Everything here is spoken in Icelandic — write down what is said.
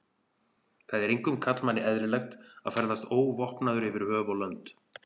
Það er engum karlmanni eðlilegt að ferðast óvopnaður yfir höf og lönd.